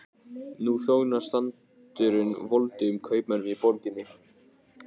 Nú þjónar sandurinn voldugum kaupmönnunum í borginni.